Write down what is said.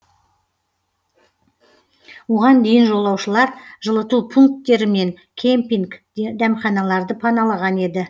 оған дейін жолаушылар жылыту пунктері мен кемпинг дәмханаларды паналаған еді